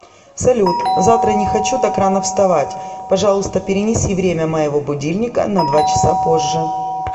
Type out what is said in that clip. салют завтра не хочу так рано вставать пожалуйста перенеси время моего будильника на два часа позже